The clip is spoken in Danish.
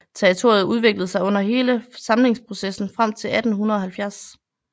Territoriet udviklede sig under hele samlingsprocessen frem til 1870